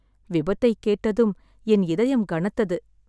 விபத்தைக் கேட்டதும் என் இதயம் கனத்தது.